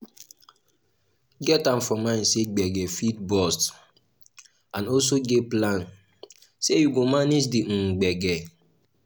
get am for mind sey gbege fit burst and also plan sey you go manage di um gbege